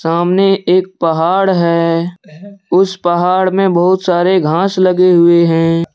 सामने एक पहाड़ है उस पहाड़ में बहुत सारे घास लगे हुए हैं।